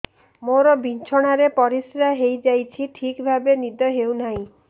ମୋର ବିଛଣାରେ ପରିସ୍ରା ହେଇଯାଉଛି ଠିକ ଭାବେ ନିଦ ହଉ ନାହିଁ